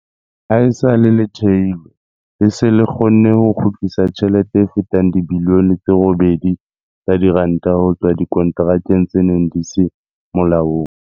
Haesale le thehilwe, le se le kgonne ho kgutlisa tjhelete e fetang dibilione tse 8.6 tsa diranta ho tswa dikonterakeng tse neng di se molaong.